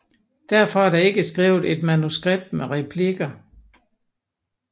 Derfor er der ikke skrevet et manuskript med replikker